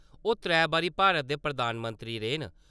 ओह् त्रैऽ बारी भारत दे प्रधानमंत्री रेह् न।